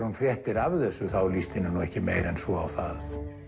hún fréttir af þessu þá líst henni ekki meira en svo á það